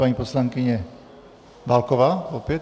Paní poslankyně Válková - opět?